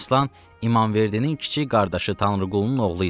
Əmiraslan İmamverdinin kiçik qardaşı Tanrıqulunun oğlu idi.